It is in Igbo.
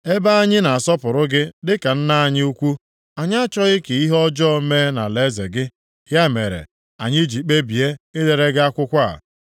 Ebe anyị na-asọpụrụ gị dịka nna anyị ukwu, anyị achọghị ka ihe ọjọọ mee nʼalaeze gị, ya mere anyị ji kpebie idere gị akwụkwọ a.